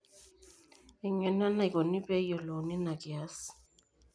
eng'eno enaikoni pee eyiolouni ena kias